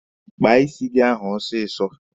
Kpaa isi gị ahụ ọsịsọ!